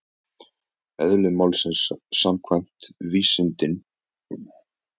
Eðli málsins samkvæmt geta vísindin hvorki sannað né afsannað tilvist þess sem er yfirnáttúrulegt.